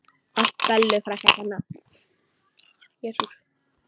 Allt Bellu frænku að kenna.